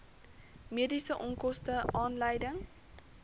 mediese onkoste aanleiding